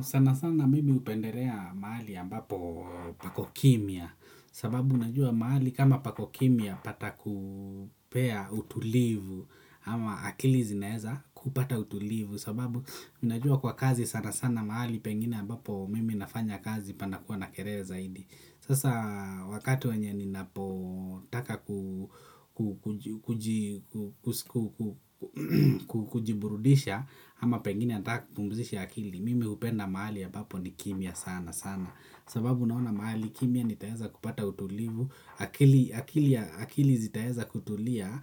Sana sana mimi hupendelea mahali ambako pako kimya sababu unajua mahali kama pako kimya patakupea utulivu ama akili zinaweza kupata utulivu kwa sababu najua kwa kazi sana sana mahali pengine ambapo mimi nafanya kazi panakuwa na kelele zaidi. Sasa wakati wenye ninapotaka kujiburudisha ama pengine nataka kupumzisha akili, mimi hupenda mahali ambapo ni kimya sana sana, sababu naona mahali kimya ninaweza kupata utulivu. Akili zitaweza kutulia